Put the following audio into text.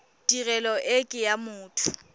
tirelo e ke ya motho